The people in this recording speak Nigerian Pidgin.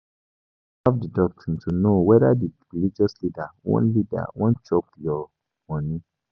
Observe di doctrine to know whether di religious leader wan leader wan chop your money